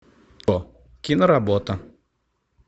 киноработа